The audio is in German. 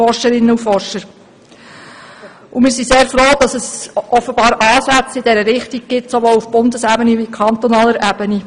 Wir sind sehr froh, dass es offenbar Ansätze in dieser Richtung gibt, sowohl auf Bundes- wie auch auf Kantonsebene.